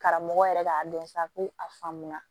Karamɔgɔ yɛrɛ k'a dɔn sa ko a faamu na